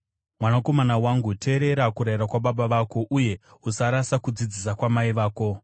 Mwanakomana wangu, teerera, kurayira kwababa vako, uye usarasa kudzidzisa kwamai vako.